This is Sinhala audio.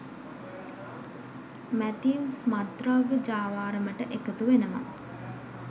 මැතිව්ස් මත්ද්‍රව්‍ය ජාවාරමට එකතු වෙනව.